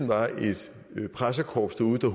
var et pressekorps derude der